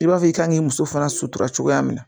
I b'a fɔ i kan k'i muso fana sutura cogoya min na